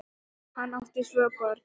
Hann átti tvö börn.